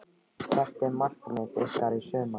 Hvert er markmið ykkar í sumar?